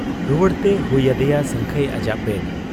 ᱨᱩᱣᱟᱹᱲᱛᱮ ᱦᱩᱭ ᱟᱫᱮᱭᱟ ᱥᱟᱹᱝᱠᱷᱟᱹᱭ ᱟᱡᱟᱜ ᱵᱮᱰ ᱾